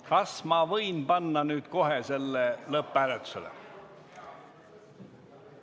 Kas ma võin panna nüüd kohe selle lõpphääletusele?